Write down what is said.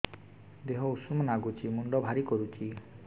ଦିହ ଉଷୁମ ନାଗୁଚି ମୁଣ୍ଡ ଭାରି କରୁଚି